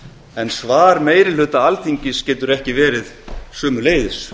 en svar meiri hluta alþingis getur ekki verið sömuleiðis